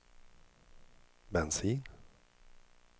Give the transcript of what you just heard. bensin